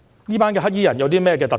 這些黑衣人有甚麼特點？